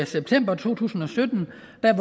september to tusind